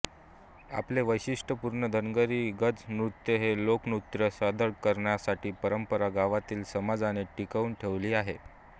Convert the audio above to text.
आपले वैशिष्ट्यपूर्ण धनगरी गज नृत्य हे लोकनृत्य सादर करण्याची परंपरा गावातील समाजाने टिकवून ठेवली आहे